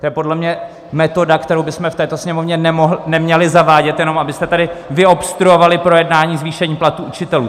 To je podle mě metoda, kterou bychom v této Sněmovně neměli zavádět, jenom abyste tady vyobstruovali projednání zvýšení platů učitelů.